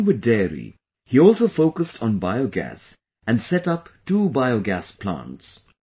Along with dairy, he also focused on Biogas and set up two biogas plants